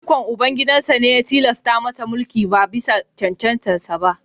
Ikon Ubangida ne ya tilasta masa mulki ba bisa cancantarsa ​​ba